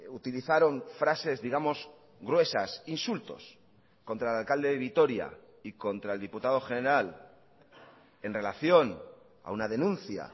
utilizaron frases digamos gruesas insultos contra el alcalde de vitoria y contra el diputado general en relación a una denuncia